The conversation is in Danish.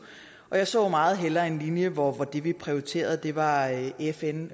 og jeg så meget hellere en linje hvor det vi prioriterede var fn